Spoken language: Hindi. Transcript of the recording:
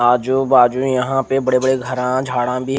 आजू बाजू यहाँ पर बोहोत बड़े बड़े घरा झाडा भी--